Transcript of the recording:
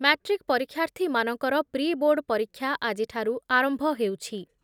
Matric ପରୀକ୍ଷାର୍ଥୀମାନଙ୍କର pre board ପରୀକ୍ଷା ଆଜିଠାରୁ ଆରମ୍ଭ ହେଉଛି ।